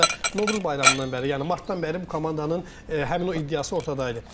Hardasa Novruz bayramından bəri, yəni martdan bəri bu komandanın həmin o iddiası ortadaydı.